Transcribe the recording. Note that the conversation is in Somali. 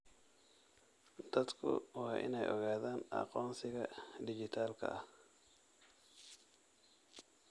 Dadku waa inay ogaadaan aqoonsiga dhijitaalka ah.